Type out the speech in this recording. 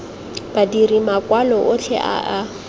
badiri makwalo otlhe a a